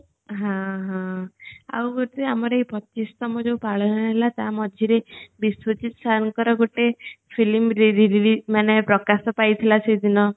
ହଁ ହଁ ଆଉ ଗୋଟେ ଆମର ଏଇ ପଚିଶ ତମ ଯୋଉ ପାଳନ ହେଲା ଟା ମଝିରେ ବିସୂତି sir ଙ୍କର ଗୋଟେ film release ମାନେ ପ୍ରକାଶିତ ହେଇଥିଲା ସେ ଦିନ